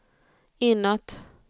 inåt